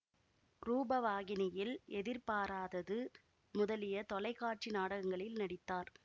ரூபவாகினியில் எதிர்பாராதது முதலிய தொலைக்காட்சி நாடகங்களில் நடித்தார்